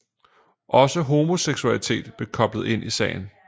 Også homoseksualitet blev koblet ind i sagen